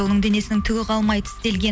оның денесінің түгі қалмай тістелген